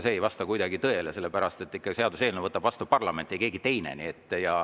See ei vasta kuidagi tõele, sellepärast et seaduseelnõu võtab vastu parlament, ei keegi teine.